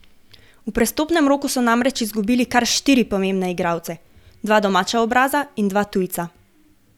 V prestopnem roku so namreč izgubili kar štiri pomembne igralce, dva domača obraza in dva tujca.